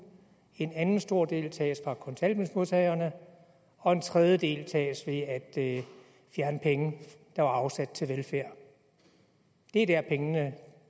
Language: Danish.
en anden stor del tages fra kontanthjælpsmodtagerne og en tredje del tages ved at fjerne penge der var afsat til velfærd det er dér pengene